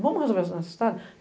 Vamos resolver os necessitado?